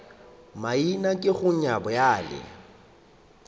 maina ke go nyat bjale